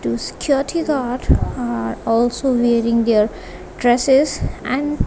two guard are also wearing their dresses and--